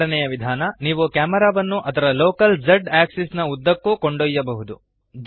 ಎರಡನೆಯ ವಿಧಾನ ನೀವು ಕ್ಯಾಮೆರಾವನ್ನು ಅದರ ಲೋಕಲ್ z ಅಕ್ಸಿಸ್ ನ ಉದ್ದಕ್ಕೂ ಚಲಿಸಬಹುದು